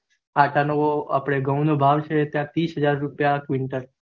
at નો ઘઉં નો ભાવ નો તીસ હઝાર રૂપિયા quintal